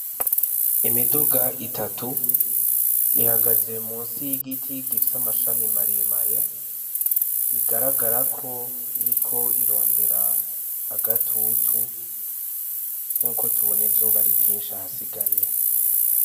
Imiduga itatu ihagaze musi yigiti amashami maremare bigararagara ko iriko irondera agatutu nkuko tubona izuba ari ryinshi.